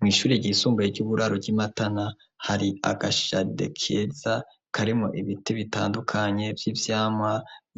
Mw'ishuri ryisumbuye ry'uburaro ry'imatana hari agashade keza karimo ibiti bitandukanye vy'ivyama